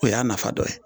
O y'a nafa dɔ ye